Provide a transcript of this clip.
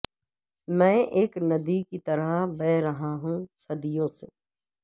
میں اک ندی کی طرح بہہ رہا ہوں صدیوں سے